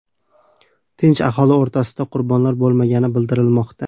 Tinch aholi o‘rtasida qurbonlar bo‘lmagani bildirilmoqda.